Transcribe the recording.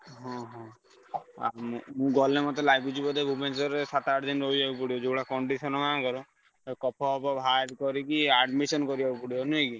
ଓହୋ ଆ ମୁଁ ମୁଁ ଗଲେ ମତେ ଲାଗୁଛି ବୋଧେ ଭୁବନେଶ୍ବରରେ ସାତ ଆଠ ଦିନି ରହିଆକୁ ପଡିବ ଯୋଉଭଳିଆ condition ଆଙ୍କର କଫ ପଫ ବାହାର କରିକି admission କରିଆକୁ ପଡିବ ନୁହେଁ କି?